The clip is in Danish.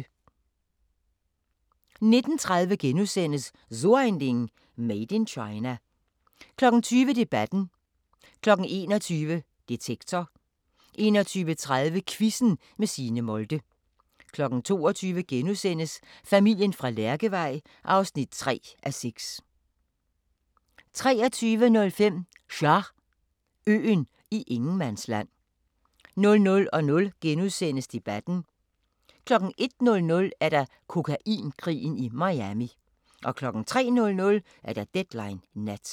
19:30: So ein Ding: Made in China * 20:00: Debatten 21:00: Detektor 21:30: Quizzen med Signe Molde 22:00: Familien fra Lærkevej (3:6)* 23:05: Char... øen i ingenmandsland 00:00: Debatten * 01:00: Kokainkrigen i Miami 03:00: Deadline Nat